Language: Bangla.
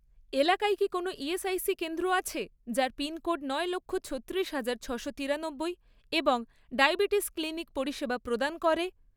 এলাকায় কি কোনও ইএসআইসি কেন্দ্র আছে, যার পিনকোড নয় লক্ষ, ছত্তিরিশ হাজার, ছশো তিরানব্বই এবং ডায়াবেটিস ক্লিনিক পরিষেবা প্রদান করে?